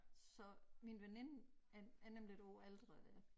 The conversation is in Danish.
Så min veninde er er nemlig et år ældre der